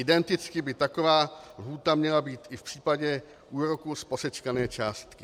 Identicky by taková lhůta měla být i v případě úroků z posečkané částky.